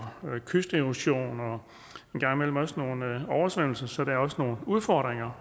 kysterosion og en gang imellem også nogle oversvømmelser så der er også nogle udfordringer